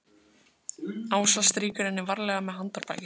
Ása strýkur henni varlega með handarbakinu.